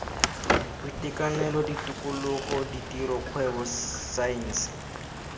boitekanelo tikologo ditiro kgwebo saense